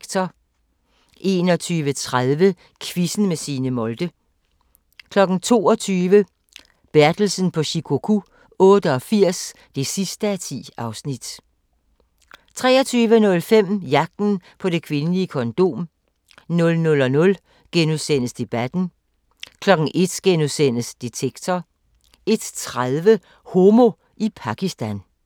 21:30: Quizzen med Signe Molde 22:00: Bertelsen på Shikoku 88 (10:10) 23:05: Jagten på det kvindelige kondom 00:00: Debatten * 01:00: Detektor * 01:30: Homo i Pakistan